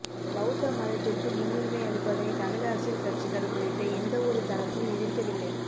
பௌத்த மதத்திற்கு முன்னுரிமை அளிப்பதனை தமிழ் அரசியல் கட்சிகள் உள்ளிட்ட எந்தவொரு தரப்பும் எதிர்க்கவில்லை